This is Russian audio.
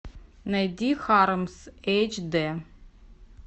найди хармс эйч д